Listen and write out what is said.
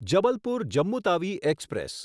Jabalpur Jammu Tawi express